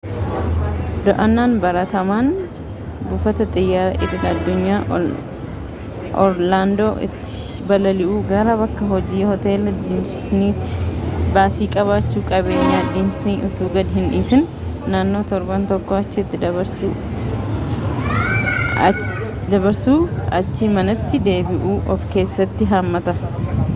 do'annaan baratamaan buufata xiyyaaraa idil-addunyaa orlaandoo'tti balali'uu gara bakka-hojii hoteela disnii'tti baasii qabachuu qabeenyaa disnii utuu gad-hin dhiisin naannoo torban tokkoo achitti dabarsuu achii manatti deebi'uu of keessatti hammata